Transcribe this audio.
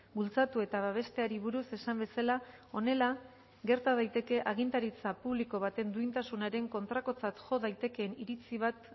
bultzatu eta babesteari buruz esan bezala honela gerta daiteke agintaritza publiko baten duintasunaren kontrakotzat jo daiteken iritzi bat